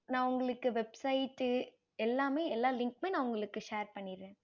நான் உங்களுக்கு website எல்லாமே எல்லா link நான் send பண்ணிறேன்